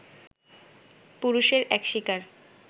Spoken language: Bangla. পুরুষের এক শিকার